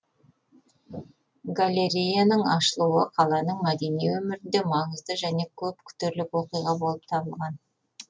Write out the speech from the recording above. галереяның ашылуы қаланың мәдени өмірінде маңызды және көп күтерлік оқиға болып табылған